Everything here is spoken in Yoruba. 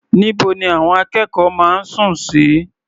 Níbo ni àwọn akẹ́kọ̀ọ́ máa ń sùn sí?